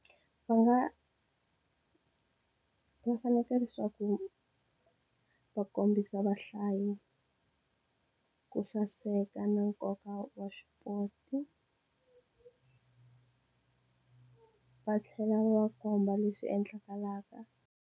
Va nga va fanekele leswaku va kombisa vahlayi ku saseka na nkoka wa swipoti va tlhela va komba leswi endlekelaka.